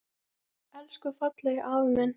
Elsku fallegi afi minn.